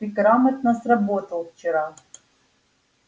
ты грамотно сработал вчера